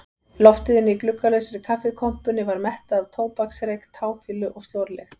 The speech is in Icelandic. Loftið inni í gluggalausri kaffikompunni var mettað af tóbaksreyk, táfýlu og slorlykt.